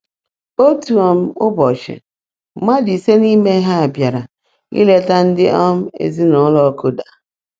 Otu um ụbọchị, mmadụ ise n’ime ha bịara ileta ndị um ezinụụlọ Koda.